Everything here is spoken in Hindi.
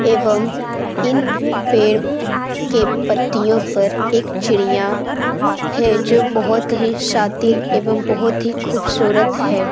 एवम इन पेड़ के पतियों पर एक चिड़िया है। जो बोहोत ही शातिर एवम बोहोत ही ख़ूबसूरत है।